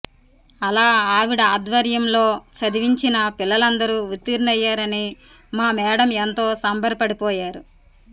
అలా ఆవిడ ఆధ్వర్యంలో చదివించిన పిల్లలందరూ ఉత్తీర్ణులయ్యారని మా మేడమ్ ఎంతో సంబరపడిపోయారు